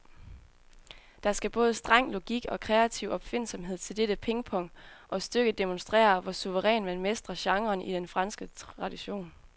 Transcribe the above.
Der skal både streng logik og kreativ opfindsomhed til dette pingpong, og stykket demonstrerer, hvor suverænt man mestrer genren i den franske tradition.